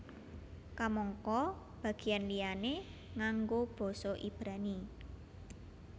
Kamangka bagéyan liyané nganggo basa Ibrani